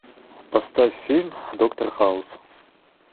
поставь фильм доктор хаус